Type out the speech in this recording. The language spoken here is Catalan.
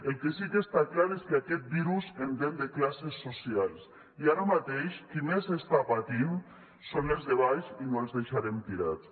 el que sí que està clar és que aquest virus entén de classes socials i ara mateix qui més està patint són els de baix i no els deixarem tirats